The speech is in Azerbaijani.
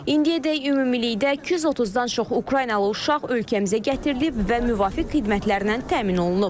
İndiyədək ümumilikdə 230-dan çox Ukraynalı uşaq ölkəmizə gətirilib və müvafiq xidmətlərlə təmin olunub.